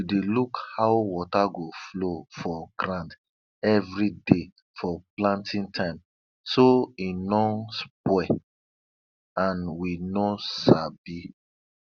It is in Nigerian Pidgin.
we dey look how water go flow for ground every day for planting time so e no spoil and we no sabi